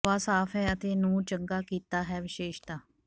ਹਵਾ ਸਾਫ਼ ਹੈ ਅਤੇ ਨੂੰ ਚੰਗਾ ਕੀਤਾ ਹੈ ਵਿਸ਼ੇਸ਼ਤਾ